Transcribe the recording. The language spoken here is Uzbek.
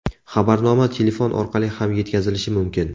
Xabarnoma telefon orqali ham yetkazilishi mumkin.